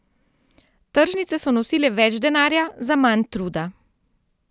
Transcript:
Tržnice so nosile več denarja za manj truda.